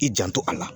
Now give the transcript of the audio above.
I janto a la